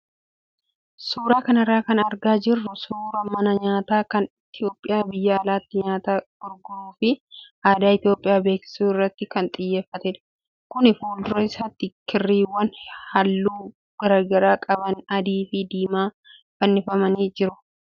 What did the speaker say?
Suuraa kanarra kan argaa jirru suuraa mana nyaataa kan Itoophiyaa biyya alaatti nyaata gurguruu fi aadaa Itoophiyaa beeksisuu irratti kan xiyyeeffatedha. Kuni fuuldura isaatti kirriiwwan halluu garaagaraa qaban adii fi diimaa fannifamanii jiru.